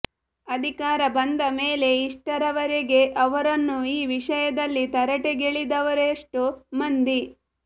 ಅಧಿಕಾರ ಬಂದ ಮೇಲೆ ಇಷ್ಟರವರೇಗೆ ಅವರನ್ನು ಈ ವಿಷಯದಲ್ಲಿ ತರಾಟೆಗೆಳೆದವರೆಷ್ಟೋ ಮಂದಿ